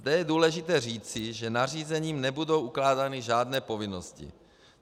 Zde je důležité říci, že nařízením nebudou ukládány žádné povinnosti.